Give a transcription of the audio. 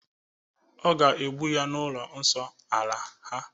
Ọ ga-egbu ya n'ụlọ nsọ ala ha,